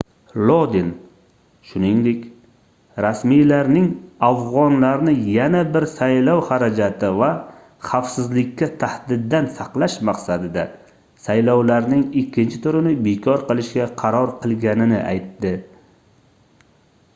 lodin shuningdek rasmiylarning afgʻonlarni yana bir saylov xarajati va xavfsizlikka tahdiddan saqlash maqsadida saylovlarning ikkinchi turini bekor qilishga qaror qilganini aytdi